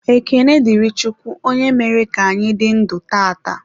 Ekene dịrị Chukwu onye mere ka anyị dị ndụ tata.